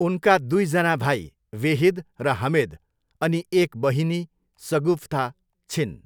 उनका दुईजना भाइ, वेहिद र हमेद अनि एक बहिनी, सगुफ्ता छिन्।